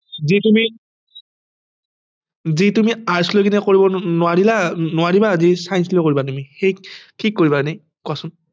যে তুমি যে তুমি arts লৈ কেনে কৰিব নোৱাৰিলা নোৱাৰিবা নে science লৈ কৰিবা তুমি শেষ কি কৰিবা এনে কোৱাছোন